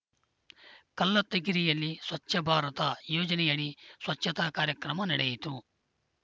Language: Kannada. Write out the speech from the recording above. ಕಲ್ಲತ್ತಿಗಿರಿಯಲ್ಲಿ ಸ್ವಚ್ಛ ಭಾರತ ಯೋಜನೆಯಡಿ ಸ್ವಚ್ಛತಾ ಕಾರ್ಯಕ್ರಮ ನಡೆಯಿತು